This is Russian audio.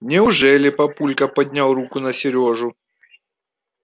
неужели папулька поднял руку на серёжу